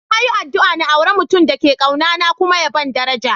Na yi addu'a n'aura mutum da ke kauna na kuma ya ban daraja.